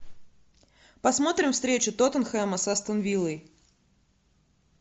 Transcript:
посмотрим встречу тоттенхэма с астон виллой